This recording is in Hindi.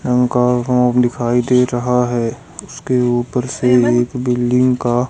दिखाई दे रहा है उसके ऊपर से एक बिल्डिंग का--